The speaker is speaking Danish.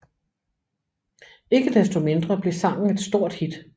Ikke desto mindre blev sangen et stort hit